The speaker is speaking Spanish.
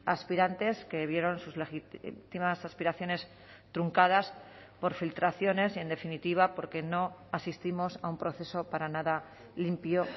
aspirantes que vieron sus legítimas aspiraciones truncadas por filtraciones y en definitiva porque no asistimos a un proceso para nada limpio